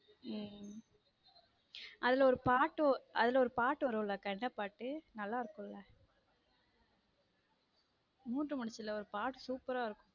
உம் அதுல ஒரு பாட்டு ஒரு பாட்டு வரும் உள்ள அக்கா என்ன பாட்டு நல்லா இருக்கும் மூன்று முடிச்சுல ஒரு பாட்டு super ஆ இருக்கும்.